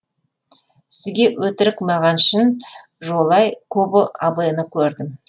сізге өтірік маған шын жолай кобо абэны көрдім